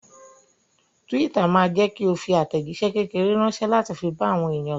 Twitter ma jẹ́kí o fi àtẹ̀jíṣé kékeré ránsẹ́ láti fi bá àwọn èèyàn sọ̀rọ̀